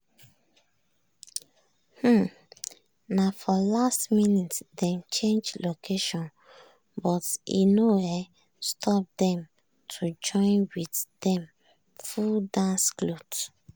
um na for last minute dem change location but e no um stop dem to join with dem full dance cloth.